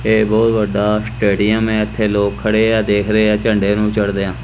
ਇਹ ਬਹੁਤ ਵੱਡਾ ਸਟੇਡੀਅਮ ਹੈ ਇੱਥੇ ਲੋਕ ਖੜੇ ਹੈਂ ਦੇਖ ਰਹੇ ਹੈਂ ਝੰਡੇ ਨੂੰ ਚੜ੍ਹਦਿਆਂ।